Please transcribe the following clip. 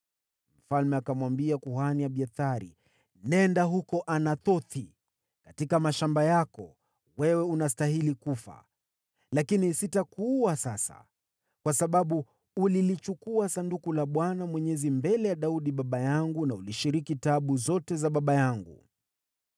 Mfalme akamwambia kuhani Abiathari, “Nenda huko Anathothi katika mashamba yako. Wewe unastahili kufa, lakini sitakuua sasa, kwa sababu ulilichukua Sanduku la Bwana Mwenyezi mbele ya Daudi baba yangu na ulishiriki taabu zote za baba yangu.”